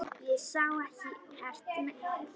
Ég sá ekkert mein.